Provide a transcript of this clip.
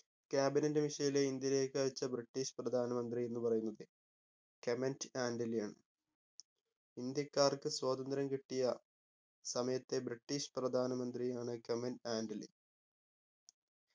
cabinet mission ലെ ഇന്ത്യയിലേക്ക് അയച്ച british പ്രധാന മന്ത്രി എന്നു പറയുന്നത് command ആന്റണിയാണ് ഇന്ത്യക്കാർക്ക് സ്വാതന്ത്ര്യം കിട്ടിയ സമയത്തെ british പ്രധാന മന്ത്രിയാണ് command ആന്റണി